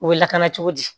U bɛ lakana cogo di